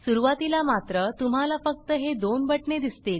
सुरुवातीला मात्र तुम्हाला फक्त हे दोन बटणे दिसतील